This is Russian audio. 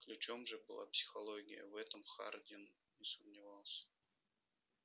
ключом же была психология в этом хардин не сомневался